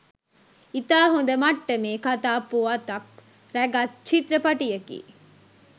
ඉතා හොඳ මට්ටමේ කතා පුවතක් රැගත් චිත්‍රපටයකි